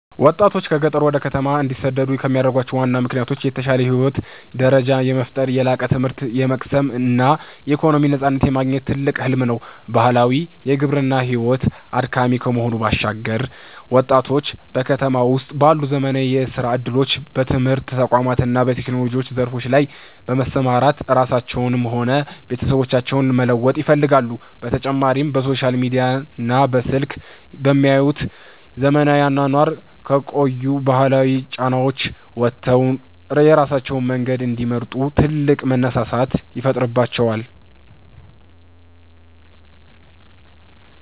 ወጣቶች ከገጠር ወደ ከተማ እንዲሰደዱ የሚያደርጋቸው ዋናው ምክንያት የተሻለ የህይወት ደረጃን የመፍጠር፣ የላቀ ትምህርት የመቅሰም እና የኢኮኖሚ ነፃነትን የማግኘት ትልቅ ህልም ነው። ባህላዊው የግብርና ሕይወት አድካሚ ከመሆኑ ባሻገር፣ ወጣቶች በከተማ ውስጥ ባሉ ዘመናዊ የሥራ ዕድሎች፣ በትምህርት ተቋማት እና በቴክኖሎጂ ዘርፎች ላይ በመሰማራት ራሳቸውንም ሆነ ቤተሰቦቻቸውን መለወጥ ይፈልጋሉ፤ በተጨማሪም በሶሻል ሚዲያና በስልክ የሚያዩት ዘመናዊ አኗኗር ከቆዩ ባህላዊ ጫናዎች ወጥተው የራሳቸውን መንገድ እንዲመርጡ ትልቅ መነሳሳትን ይፈጥርባቸዋል።